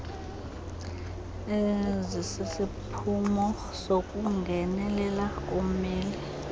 ezisisiphumo sokungenelelela kommeli